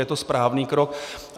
Je to správný krok.